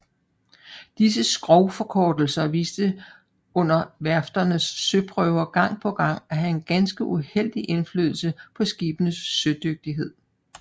Disse skrogforkortelser viste under værfternes søprøver gang på gang at have en ganske uheldig indflydelse på skibenes sødygtighed